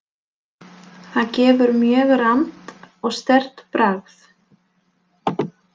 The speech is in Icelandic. Það gefur mjög rammt og sterkt bragð.